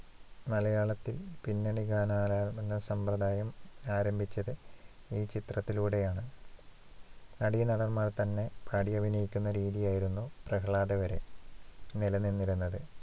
മലയാളത്തിൽ പിന്നണി ഗാനാലാപന സമ്പ്രദായം ആരംഭിച്ചത് ഈ ചിത്രത്തിലൂടെയാണ് നടീനടന്മാർ തന്നെ പാടിയഭിനയിക്കുന്ന രീതിയായിരുന്നു പ്രഹ്ലാദ വരെ നിലനിന്നിരുന്നത്.